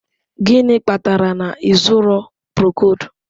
Gịnị kpatara na ị zụrụ Procold?